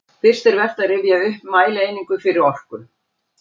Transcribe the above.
Fyrst er vert að rifja upp mælieiningar fyrir orku.